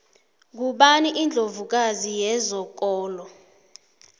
ngubani indlovu kazi yezokolo